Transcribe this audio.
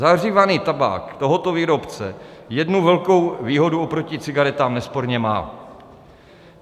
Zahřívaný tabák tohoto výrobce jednu velkou výhodu oproti cigaretám nesporně má.